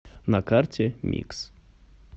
на карте микс